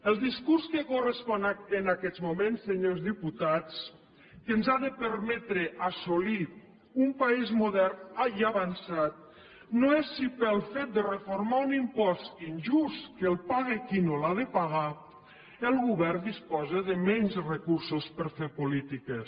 el discurs que correspon en aquests moments senyors diputats que ens ha de permetre assolir un país modern i avançat no és si pel fet de reformar un impost injust que el paga qui no l’ha de pagar el govern disposa de menys recursos per fer polítiques